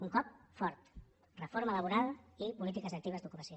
un cop fort reforma laboral i polítiques actives d’ocupació